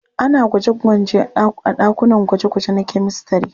Ana gwaje-gwanje a ɗakunan gwaje-gwaje na kyamistare.